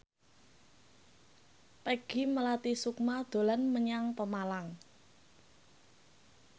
Peggy Melati Sukma dolan menyang Pemalang